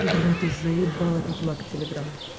блять ты заебал этот лаг телеграм